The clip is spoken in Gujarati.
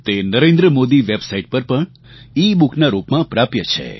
તે નરેન્દ્રમોદી વેબસાઇટ પર પણ ebookના રૂપમાં પ્રાપ્ય છે